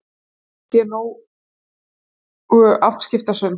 Honum finnst ég nógu afskiptasöm.